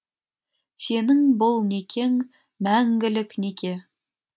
сенің бұл некең мәңгілік неке